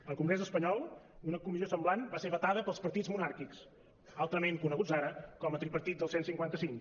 al congrés espanyol una comissió semblant va ser vetada pels partits monàrquics altrament coneguts ara com a tripartit del cent i cinquanta cinc